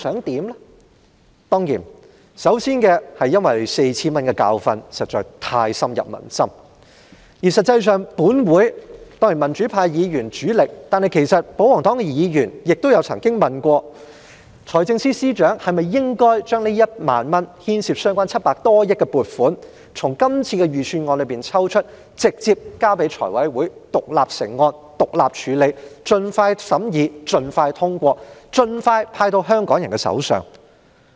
當然，首先是之前派發 4,000 元的教訓實在太深入民心，而且以我們民主派議員為主力，再加上保皇黨議員也曾問過，財政司司長是否應該把這1萬元所牽涉的700多億元撥款從今年的預算案中抽出，直接交給財委會獨立成案處理，以便盡快審議並通過，然後盡快派到香港人手上？